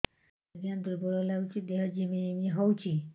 ଆଜ୍ଞା ଦୁର୍ବଳ ଲାଗୁଚି ଦେହ ଝିମଝିମ ହଉଛି